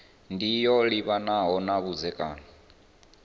ndi yo livhanaho na vhudzekani